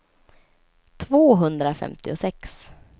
tvåhundrafemtiosex